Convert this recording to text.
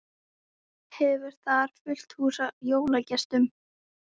Hefur þar fullt hús af jólagestum.